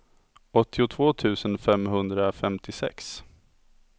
åttiotvå tusen femhundrafemtiosex